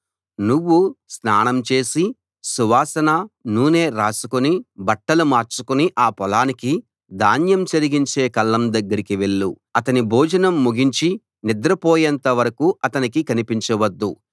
నువ్వు స్నానం చేసి సువాసన నూనె రాసుకుని బట్టలు మార్చుకుని ఆ పొలానికి ధాన్యం చెరిగించే కళ్లం దగ్గరికి వెళ్ళు అతని భోజనం ముగించి నిద్రపోయేంత వరకూ అతనికి కనిపించవద్దు